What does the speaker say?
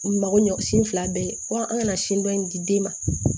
U mago ɲɔ sin fila bɛɛ ye wa an kana sin dɔ in di den ma